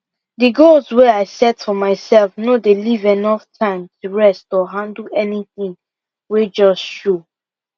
the goals wey i set for myself no dey leave enough time to rest or handle anything wey just show